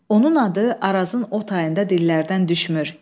Onun adı Arazın o tayında dillərdən düşmür.